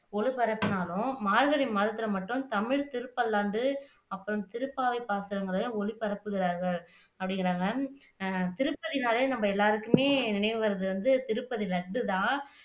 ஒளிபரப்பினாலும் மார்கழி மாதாத்துல மட்டும் தமிழ் திருப்பல்லாந்து அப்புறம் திருப்பாவை பாசுரங்களை ஒளிபரப்புகிறார்கள் அப்படிங்கிறாங்க அஹ் திருப்பதின்னாலே நம்ம எல்லாருக்குமே நினைவு வருவது வந்து திருப்பதி லட்டுதான்